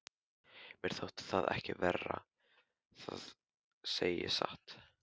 Mér þótti það ekki verra, það segi ég satt.